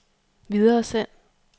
videresend